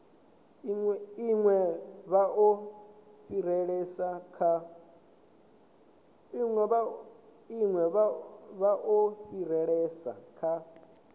ine vha o fhirisela kha